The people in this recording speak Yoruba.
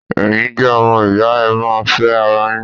Ẹ̀yin jẹ́ ọmọ ìyá, ẹ má ṣe fẹ́ ara yín!